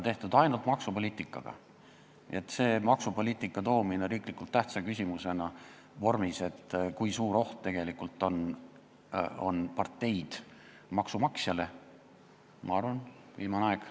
Selleks, et tuua maksupoliitika riiklikult tähtsa küsimuse arutelu vormis siia ja rääkida, kui suur oht on parteid maksumaksjale, on, ma arvan, viimane aeg.